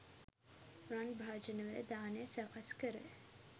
රන් භාජනවල දානය සකස් කර